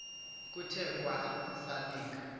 kuthe kwa esalika